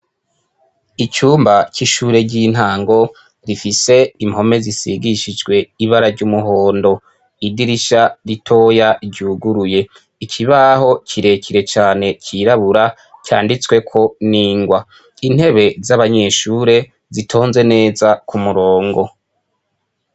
Icumba c'ishure ry'intango, gifise impome zisigishijwe ibara ry'umuhondo. Idirisha ritoya ryuguruye. Ikibaho kirekire cane cirabura, canditsweko n'ingwa. Intebe z'abanyeshure zitonze neza k'umurongo.